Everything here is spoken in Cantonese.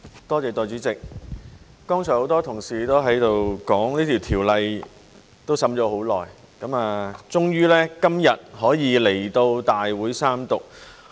代理主席，剛才很多同事都說這法案已審議多時，終於今日可以來到大會三讀。